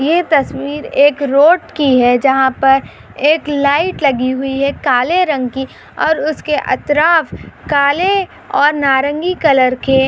ये तस्वीर एक रोड की है जहा पर एक लाइट लगी हुई है काले रंग की और उसकी अतराफ काले और नारंगी कलर के --